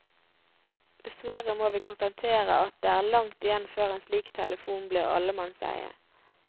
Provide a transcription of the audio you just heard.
Dessverre må vi konstatere at det er langt igjen før en slik telefon blir allemannseie.